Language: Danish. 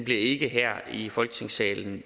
ikke her i folketingssalen